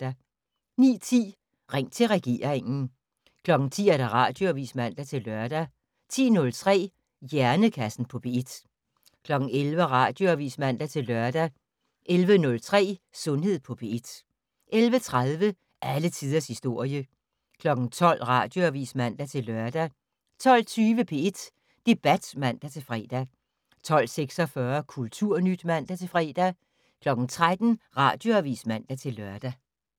09:10: Ring til regeringen 10:00: Radioavis (man-lør) 10:03: Hjernekassen på P1 11:00: Radioavis (man-lør) 11:03: Sundhed på P1 11:30: Alle tiders historie 12:00: Radioavis (man-lør) 12:20: P1 Debat (man-fre) 12:46: Kulturnyt (man-fre) 13:00: Radioavis (man-lør)